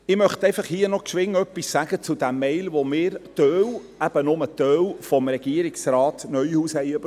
Ich möchte hier einfach noch kurz etwas zur E-Mail sagen, die einige von uns – eben nur ein Teil – von Regierungsrat Neuhaus erhalten haben.